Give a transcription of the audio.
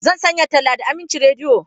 Zan sanya talla da Aminci Rediyo.